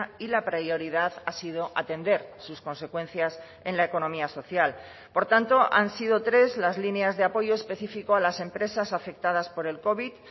y la prioridad ha sido atender sus consecuencias en la economía social por tanto han sido tres las líneas de apoyo específico a las empresas afectadas por el covid